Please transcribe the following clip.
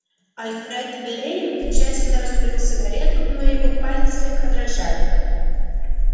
алфред лэннинг тщательно раскурил сигарету но его пальцы слегка дрожали